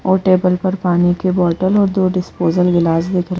और टेबल पर पानी के बोटल और दो डिस्पोजल गिलास दिख रहे --